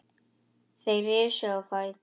Þeir risu á fætur.